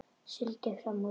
Sigldi fram úr henni.